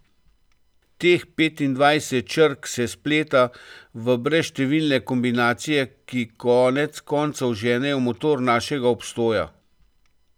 Teh petindvajset črk se spleta v brezštevilne kombinacije, ki konec koncev ženejo motor našega obstoja.